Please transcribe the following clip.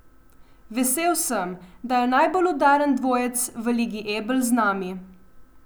Vesel sem, da je najbolj udaren dvojec v Ligi Ebel z nami.